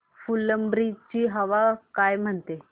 फुलंब्री ची हवा काय म्हणते